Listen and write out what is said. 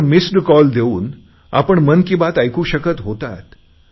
त्यावर missed call देऊन आपण मन की बात ऐकू शकत होता